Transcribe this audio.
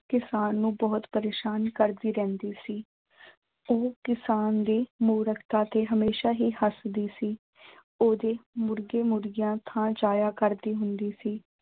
ਕਿਸਾਨ ਨੂੰ ਬਹੁਤ ਪ੍ਰੇਸ਼ਾਨ ਕਰਦੀ ਰਹਿੰਦੀ ਸੀ ਉਹ ਕਿਸਾਨ ਦੀ ਮੂਰਖਤਾ ਤੇ ਹਮੇਸ਼ਾ ਹੀ ਹਸਦੀ ਸੀ। ਓਹਦੇ ਮੁਰਗੇ ਮੁਰਗੀਆਂ ਜਾਇਆ ਕਰਦੀ ਹੁੰਦੀ ਸੀ।